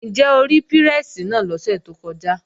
Ǹjẹ́ o rí pírẹ́sì náà lọ́sẹ̀ tó kọjá?